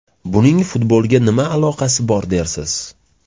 Buning futbolga nima aloqasi bor dersiz?